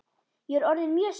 Ég er orðin mjög spennt!